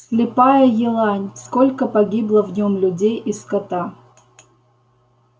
слепая елань сколько погибло в нём людей и скота